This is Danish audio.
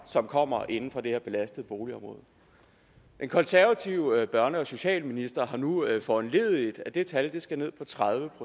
som kommer inde fra det her belastede boligområde den konservative børne og socialminister har nu foranlediget at det tal skal ned på tredive